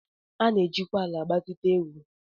A na-ejikwa ala agbazite ego